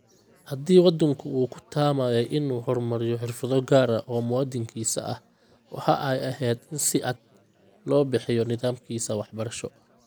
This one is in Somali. Haddii waddanku uu ku taamayay in uu horumariyo xirfado gaar ah oo muwaadinkiisa ah, waxa ay ahayd in si cad loo bixiyo nidaamkiisa waxbarasho.